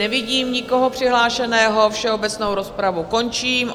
Nevidím nikoho přihlášeného, všeobecnou rozpravu končím.